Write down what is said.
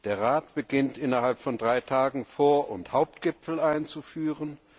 Der Rat beginnt, innerhalb von drei Tagen Vor und Hauptgipfel einzuführen.